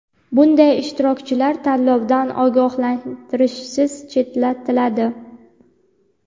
bunday ishtirokchilar tanlovdan ogohlantirishsiz chetlatiladi.